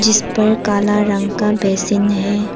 इस पर काला रंग का बेसिन है।